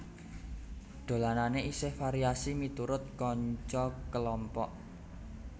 Dolanane isih variasi miturut kanca kelompok